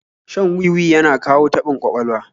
Shan wi-wi yana kawo taɓin ƙwaƙwalwa